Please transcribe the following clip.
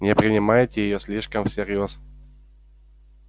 не принимайте её слишком всерьёз